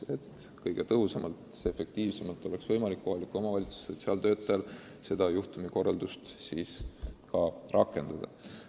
Nii saavad sotsiaaltöötajad kõige tõhusamalt kõnealust juhtumikorraldust rakendada.